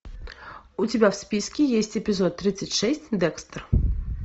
у тебя в списке есть эпизод тридцать шесть декстер